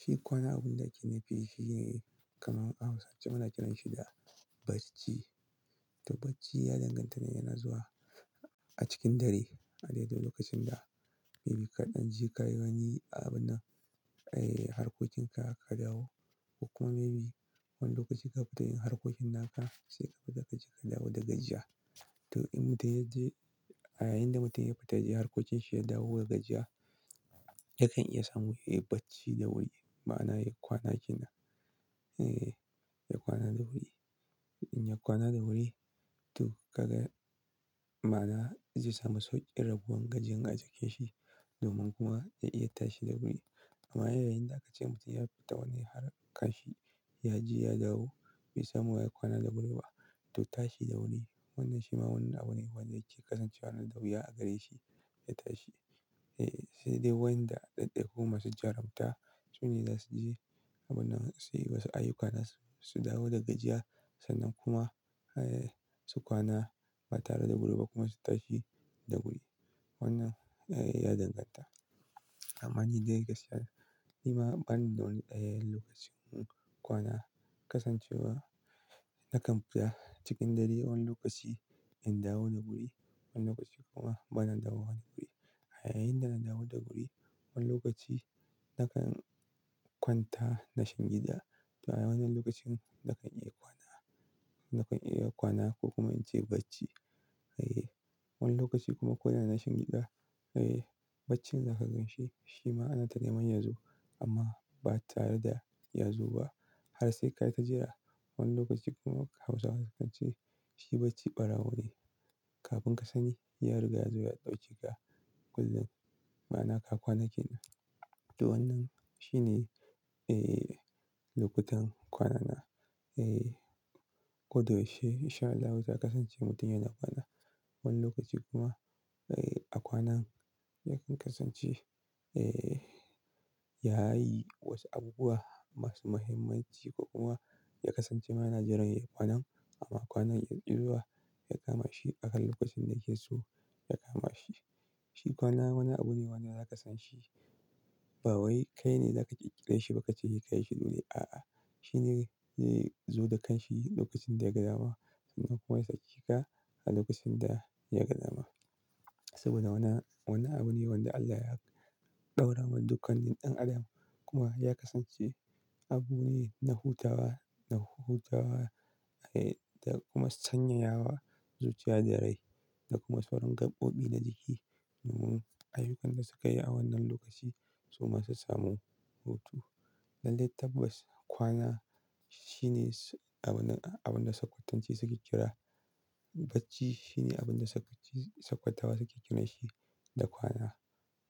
Shi kwana abin da ake nufi shine kamar Hausawa suna kiranshi da bacci. To bacci ya danganta ne yana zuwa a cikin dare a daidin lokacin da maybe kaɗan je ka yi wani abin nan, harkokin ka ka dawo ko kuma maybe wani lokaci kafita yin harkokin naka sai kafita ka je ka dawo da gajiya. To in mutum ya je a yayin da mutum ya fita, ya je harkokin shi ya dawo da gajiya, yakan iya samun yayi bacci da wuri. Ma'ana ya kwana kina, eh ya kwana da wuri. In ya kwana da wuri to kaga ma'ana zai samu sauƙi rabuwan gajin a jikin shi domin kuma ya iya tashi da wuri. Amma yayin da aka ce mutum ya fita wani harka shi ya je ya dawo bai samu yayi kwana da wuri ba to tashi da wuri. Wannan shi ma wani abu ne wanda yake kasancewa na da wuya a gare shi ya tashi. Eh, sai dai wa'yanda ɗaiɗaiku ma su jarabta, su ne za su je abun nan su yi wasu ayyuka na su, su dawo da gajiya sannan kuma, su kwana ba tare da gudu ba kuma su tashi da wuri. Wannan, eh ya danganta. Amma ni dai gaskiya ni ma bani da wani ɗayan lokacin kwana kasancewa na kan bi ta cikin dare wani lokaci in dawo da guri, wani lokaci kuma bana dawo wa guri. A yayin da nawa da guri wani lokaci na kan kwanta nashin gida. To a wannan lokacin na kan iya kwana, na kan iya kwana ko kuma in ce bacci. Eh wani lokaci kuma ko da nashin gida, eh baccin da ka ganshi shi ma ana tana man ya zo amma ba tare da ya zo ba. Har sai ka yi ta jira wani lokaci kuma Hausawa sukan ce shi bacci ɓarawo ne. Kafin ka sani ya riga ya zo ya ɗauke ka kullum. Ma'ana ka kwana kina. To wannan shi ne, eh lokutan kwanana. Eh kodayaushe in sha Allah za ka kasance mutum yana kwana. Wani lokaci kuma, eh a kwanan yakan kasance, eh yayi wasu abubuwa masu muhimmanci ko kuma ya kasance ma yan jiran ya kwana amma kwanan ya ki zuwa ya kama shi akan lokacin da yake so ya kama shi. Shi kwana wani abu ne wanda za ka san shi ba wai kai ne za ka kirkire shi ba ka ce kai shi dole. A'a, shi ne zai zo da kanshi lokacin da ya ga dama sannan kuma ya sace ka a lokacin da ya ga dama. Saboda wannan wani abu ne wanda Allah ya ɗora wa dukkan ɗan adam kuma ya kasance abu ne na hutawa, na hutawa, eh da kuma sanyaya wa zuciya da rai da kuma sauran gaɓoɓi na jiki. Domin ayyukan da sukayi a wannan lokaci su masu samu hutu. Lallai tabbas kwana shine abin, abin da sakwatanci suke kira bacci. Shi ne abin da sakwace, sakwatawa suke kiranshi da kwana.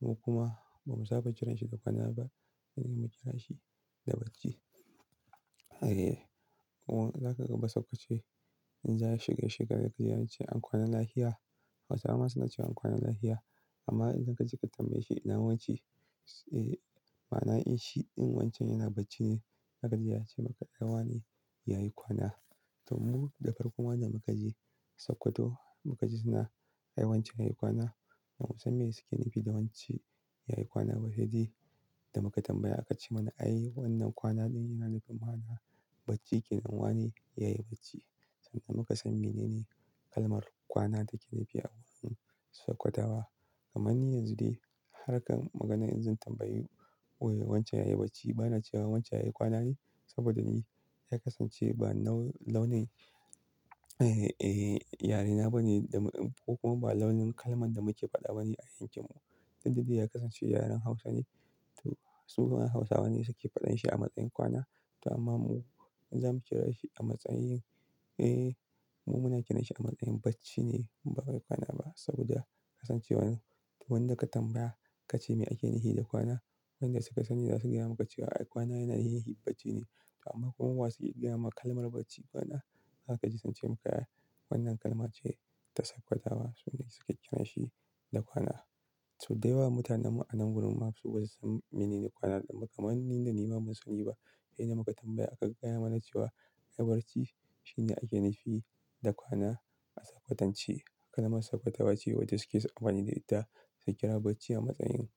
Mu kuma ba mu saba kiranshi da kwana ba, sai dai mu kira shi da bacci. Eh kuma za ka ga ba sakkwace in za su gaisheka sai sun ce an kwana lahia. Hausawa suna cewa an kwana lahia. Amma idan ka je ka tambaye shi na wance, eh ma'ana in shi wancan yana bacci ne. Zakaji ya ce maka ai wane yayi kwana. To mu da farko mana da muka je sokoto mukaji suna wancan yayi kwana. Bamu san me suke nufi da wance yayi kwana ba sai dai da muka tambaya aka ce mana ai wannan kwana ɗin yana nufin ma'ana bacci kenan wane yayi bacci. Sannan muka san menene kalmar kwana take nufi a wurin sakwatawa. Amma ni yanzu dai harkan maganan in zan tambayi wai wancen yayi bacci bana cewa wancen yayi kwana ne saboda me? Ya kasance ba launin, yarena ba ne da ko kuma ba launin kalman da muke faɗa ba ne a yankin mu. Duk da dai ya kasance yaren Hausa ne. To su ma Hausawa ne suke faɗan shi a matsayin kwana. To amma mu in za mu kira shi a matsayin, eh mu muna kiranshi a matsayin bacci ne ba wai kwana ba saboda kasancewar wanda ka tambaya ka ce me ake nufi da kwana, wanda suka sani za su gaya maka cewa ai kwana yana nufin bacci ne. To amma kuma wasu ke gaya maka kalmar bacci kwana. Za ka ji sun ce maka ai wannan kalma ce ta sakwatawa su ne suke kiranshi da kwana. Soda yawa mutanen mu a nan gurin mu ma su ba su san menene kwana. Kamar ni da ni ba mun sani ba sai da muka tambaya aka gaya mana cewa ai bacci shine ake nufi da kwana a sakwatance. Kalmar sakkwatawa ce wacce suke suyi amfani da ita su kira bacci a matsayin.